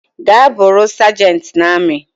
Gaa bụrụi sergent na ami